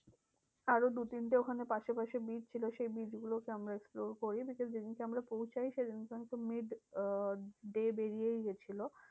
আরো দু তিনটে ওখানে পাশাপাশি beach ছিল সেই beach গুলোকে আমরা explore করি। because যেদিনকে আমরা পৌঁছোই সেদিন কে mid আহ day বেরিয়েই গেছিলো।